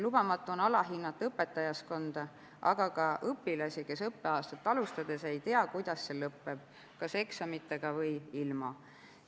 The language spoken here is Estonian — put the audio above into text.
Lubamatu on alahinnata õpetajaskonda, aga ka õpilasi, kes õppeaastat alustades ei tea, kuidas see lõpeb, kas eksamitega või ilma.